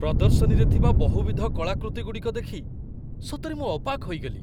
ପ୍ରଦର୍ଶନୀରେ ଥିବା ବହୁବିଧ କଳାକୃତିଗୁଡ଼ିକ ଦେଖି ସତରେ ମୁଁ ଅବାକ୍ ହୋଇଗଲି।